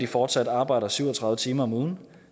fortsat arbejder syv og tredive timer om ugen